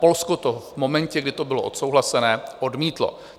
Polsko to v momentě, kdy to bylo odsouhlasené, odmítlo.